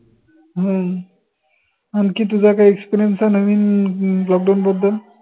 हम्म आनखी तुझा काही experience आहे नवीन lockdown बद्दल